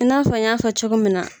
I n'a fɔ n y'a fɔ cogo min na